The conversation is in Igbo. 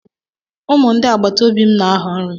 Ụmụ ndị agbataobi m na-ahọ nri.